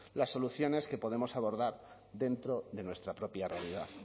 las soluciones que podemos abordar dentro de nuestra propia realidad